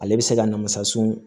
Ale bɛ se ka na masa sɔn